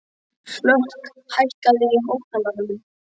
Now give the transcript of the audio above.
Hlökk, hækkaðu í hátalaranum.